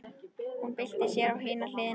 Hún byltir sér á hina hliðina.